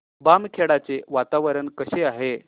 बामखेडा चे वातावरण कसे आहे